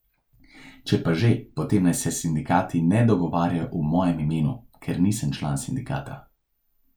Če pa že, potem naj se sindikati ne dogovarjajo v mojem imenu, ker nisem član sindikata.